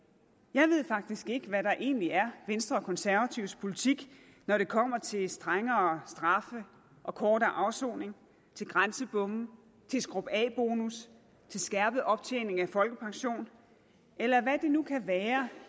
jeg ved faktisk ikke hvad der egentlig er venstre og konservatives politik når det kommer til strengere straffe og kortere afsoning til grænsebomme til skrub af bonus til skærpet optjening af folkepension eller hvad det nu kan være